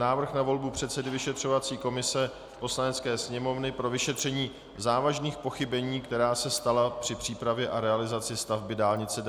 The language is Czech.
Návrh na volbu předsedy vyšetřovací komise Poslanecké sněmovny pro vyšetření závažných pochybení, která se stala při přípravě a realizaci stavby dálnice D47